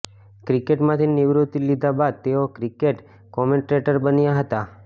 ક્રિકેટમાંથી નિવૃત્તિ લીધા બાદ તેઓ ક્રિકેટ કોમેન્ટ્રેટર બન્યા હતા